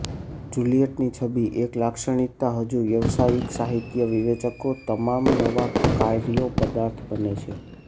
Juliet ની છબી એક લાક્ષણિકતા હજુ વ્યાવસાયિક સાહિત્યિક વિવેચકો તમામ નવા કાર્યો પદાર્થ બને છે